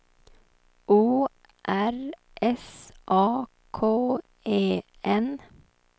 O R S A K E N